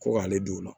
Ko k'ale don o la